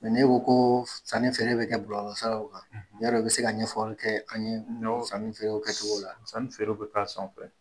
n'e ko ko sanni feere bɛ kɛ bɔlɔlɔ siraw kan yarɔ i bɛ se ka ɲɛfɔli kɛ an ye sanni feerew kɛ cogo la. Sanni feerew bɛ k'a sanfɛ.